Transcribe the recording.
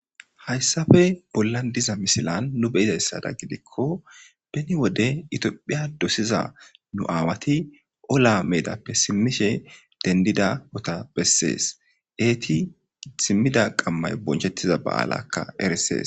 hayssafe bollan diza misilan nu beyidayssada gidikko beni wode itiophiya dosiza nu aawati ola meedappe simmishe dendida ota bessees eeti simmida qammay bonchettiza ba7alakka eresees